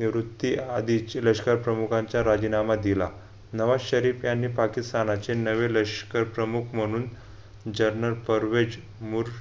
निवृत्ती आधी लष्कर प्रमुखांच्या राजीनामा दिला. नवाज शरीफ यांनी पाकिस्तानचे नवे लष्करप्रमुख प्रमुख म्हणून Journal परवेज मूर